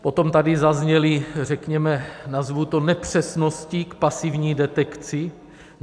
Potom tady zazněly, řekněme, nazvu to nepřesnosti k pasivní detekci.